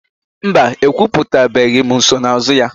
Mba, ekwuputabeghị nsonaazụ ya.